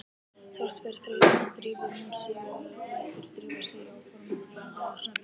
Þrátt fyrir þreytuna drífur hún sig eða lætur drífa sig í áformaða ferð á Snæfellsnes.